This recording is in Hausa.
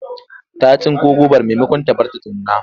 Ta tsinko gobar maimakon ta bari ta nuna.